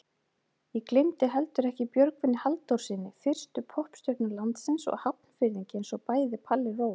Ég gleymdi heldur ekki Björgvini Halldórssyni, fyrstu poppstjörnu landsins og Hafnfirðingi einsog bæði Palli Rós.